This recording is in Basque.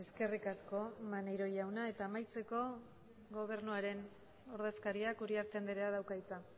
eskerrik asko maneiro jauna eta amaitzeko gobernuaren ordezkariak uriarte andreak dauka hitza